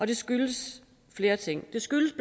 det skyldes flere ting det skyldes